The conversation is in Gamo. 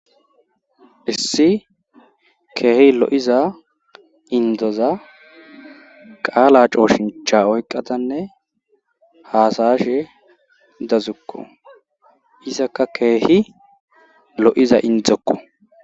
issi keehi lo7iza indoza qaala cooshincha oyqadanne hasa7ashe dazukko izakka keehi lo7iza indzzokko